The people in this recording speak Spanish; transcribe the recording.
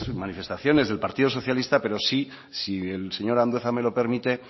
manifestaciones del partido socialista pero si el señor andueza me lo permite